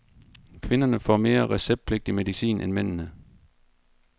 Kvinderne får mere receptpligtig medicin end mændene.